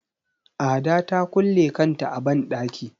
Ada ta kulle kanta a banɗaki.